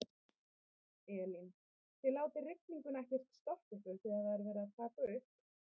Elín: Þið látið rigninguna ekkert stoppa ykkur þegar það er verið að taka upp?